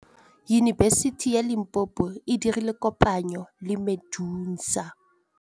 Yunibesiti ya Limpopo e dirile kopanyô le MEDUNSA.